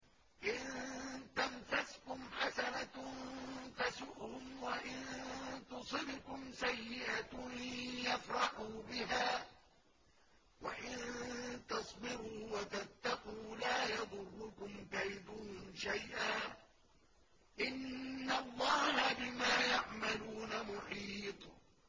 إِن تَمْسَسْكُمْ حَسَنَةٌ تَسُؤْهُمْ وَإِن تُصِبْكُمْ سَيِّئَةٌ يَفْرَحُوا بِهَا ۖ وَإِن تَصْبِرُوا وَتَتَّقُوا لَا يَضُرُّكُمْ كَيْدُهُمْ شَيْئًا ۗ إِنَّ اللَّهَ بِمَا يَعْمَلُونَ مُحِيطٌ